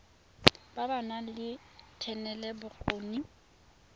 ba ba nang le thetelelobokgoni